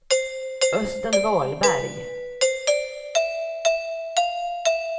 Östen Wahlberg